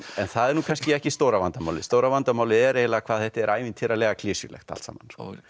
það er nú kannski ekki stóra vandamálið stóra vandamálið er eiginlega hvað þetta er ævintýralega klisjulegt allt saman